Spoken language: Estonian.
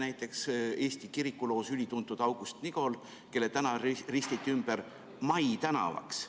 Näiteks, Eesti kirikuloos ülituntud August Nigol, kelle tänav ristiti ümber Mai tänavaks.